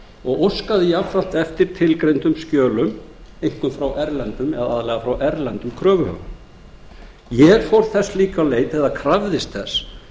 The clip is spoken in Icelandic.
og óskaði jafnframt eftir tilgreindum skjölum aðallega frá erlendum kröfuhöfum ég fór þess líka á leit eða krafðist þess